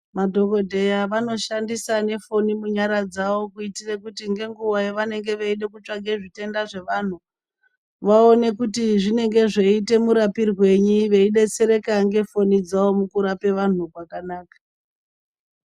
Madhokodheya vanoshandisa nefoni munyara dzawo kuitire kuti ngenguwa yavanenge viyida kutsvake zvitenda zvevanhu, vaone kuti zvinenge zveite murapirwenyi, veyidetsereka ngefoni dzawo mukurape vanhu zvakanaka.